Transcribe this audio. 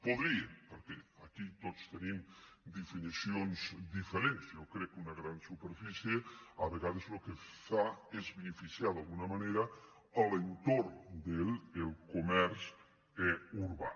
podria perquè aquí tots tenim definicions diferents jo crec que una gran superfície a vegades el que fa és beneficiar d’alguna manera l’entorn del comerç urbà